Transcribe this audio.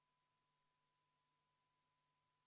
Kas härra Saarel on soov see muudatusettepanek hääletusele panna?